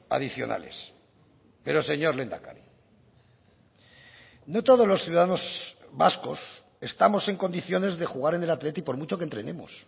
adicionales pero señor lehendakari no todos los ciudadanos vascos estamos en condiciones de jugar en el athletic por mucho que entrenemos